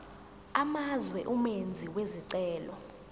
amazwe umenzi wesicelo